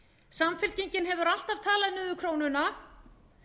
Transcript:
samfylkingin hefur alltaf talað niður krónuna